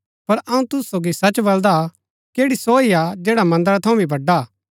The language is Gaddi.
पर अऊँ तुसु सोगी सच बलदा कि ऐड़ी सो हा जैडा मन्दरा थऊँ भी बड़आ हा